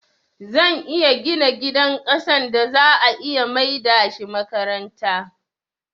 Zan iya gina gidan ƙasan da za'a iya maida shi makaranta